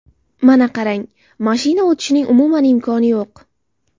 Mana qarang, mashina o‘tishining umuman imkoni yo‘q.